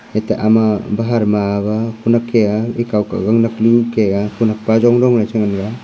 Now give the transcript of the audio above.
ete ama bahar ma aga kunek ke a akhaw ke gang nak kunu ke a kunak pa jong jong che ngan taiga.